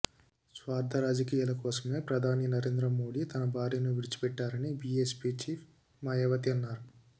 స్వార్థ రాజకీయాల కోసమే ప్రధాని నరేంద్ర మోడీ తన భార్యను విడిచిపెట్టారని బీఎస్పీ చీఫ్ మాయావతి అన్నారు